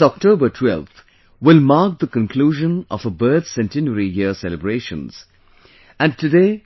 This October 12th will mark the conclusion of her birth centenary year celebrations and today